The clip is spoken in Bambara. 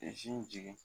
jigin